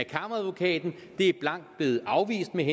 kammeradvokaten det er blankt blevet afvist med